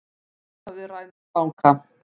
Svarthöfði rænir banka